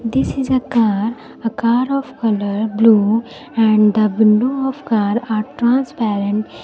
this is a car a car of colour blue and the window of car are transparent.